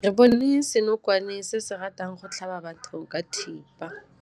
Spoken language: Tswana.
Re bone senokwane se se ratang go tlhaba batho ka thipa.